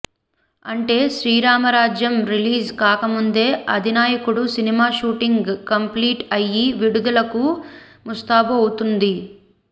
అంటే శ్రీరామరాజ్యం రిలీజ్ కాకముందే Adhinayakudu cinema shooting complete అయ్యి విడుదలకు ముస్తాబు అవుతుంది